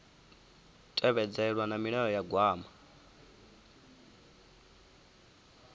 tevhedzelwa na milayo ya gwama